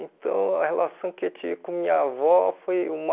Então, a relação que eu tinha com minha avó foi uma...